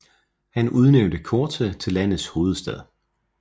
Han udnævnte Corte til landets hovedstad